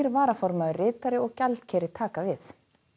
varaformaður ritari og gjaldkeri taka við